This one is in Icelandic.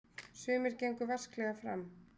Sumir gengu vasklega fram.